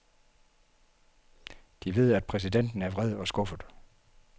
De ved, at præsidenten er vred og skuffet.